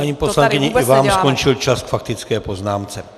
Paní poslankyně, i vám skončil čas k faktické poznámce.